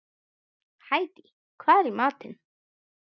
Hædý, hvað er í matinn?